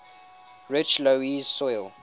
rich loess soil